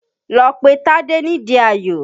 Lọ pe Tádé nídi Ayò!